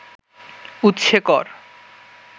উৎসে কর